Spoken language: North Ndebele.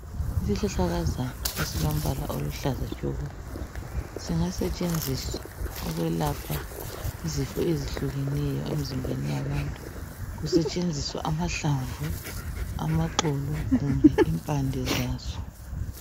Isihlahlakazana esilombala oluhlaza tshoko singasetshenziswa ukwelapha izifo ezehlukeneyo emizimbeni yabantu kusetshenziswa amahlamvu, amaxolo kumbe impande zaso